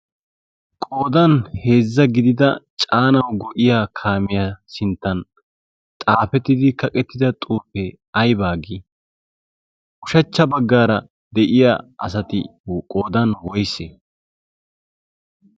qoodan heezza gidida caanawu go'iya kaamiyaa sinttan xaafettidi kaqettida xurpfee aybaa gii? ushachcha baggaara de'iya asati qoodan woysse?